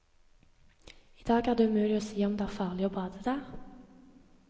I dag er det umulig å si om det er farlig å bade der.